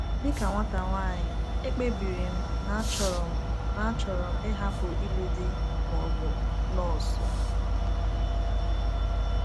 “ Dị ka nwata nwanyị, ekpebiri m na achọrọ na achọrọ m ịhapụ ịlụ di ma ọ bụ nọọsụ.